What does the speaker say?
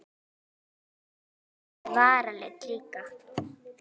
Helst með varalit líka.